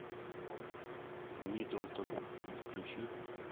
миддлтон включи